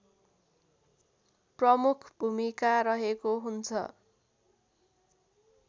प्रमुख भूमिका रहेको हुन्छ